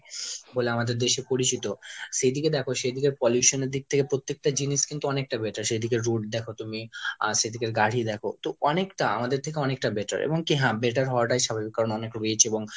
বলে আমাদের দেশে পরিচিত, সে দিকে দেখো সে দিকে pollution এর দিক থেকে প্রত্যেকটা জিনিস কিন্তু অনেকটা better। সেদিকের road দেখো তুমি, আহ সেদিকের গাড়ি দেখো তো অনেকটা আমাদের থেকে অনেকটা better। এবং কি হ্যাঁ better হওয়াটাই স্বাভাবিক কারণ অনেক rich এবং